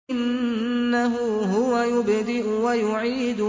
إِنَّهُ هُوَ يُبْدِئُ وَيُعِيدُ